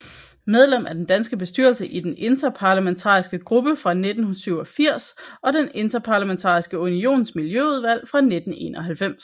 Medlem af den danske bestyrelse i Den Interparlamentariske Gruppe fra 1987 og af Den Interparlamentariske Unions Miljøudvalg fra 1991